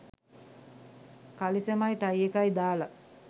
කලිසමයි tie එකයි දාලා